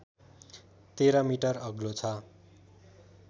१३ metre अग्लो छ